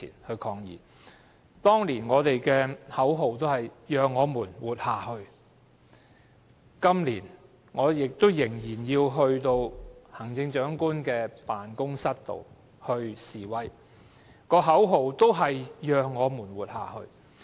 我們當年的口號是"讓我們活下去"，今年，我仍要到行政長官辦公室示威，口號仍是"讓我們活下去"。